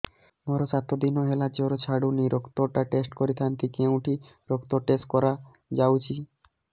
ମୋରୋ ସାତ ଦିନ ହେଲା ଜ୍ଵର ଛାଡୁନାହିଁ ରକ୍ତ ଟା ଟେଷ୍ଟ କରିଥାନ୍ତି କେଉଁଠି ରକ୍ତ ଟେଷ୍ଟ କରା ଯାଉଛି